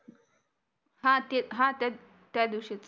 हा तेच हा तेच त्या दिवशीच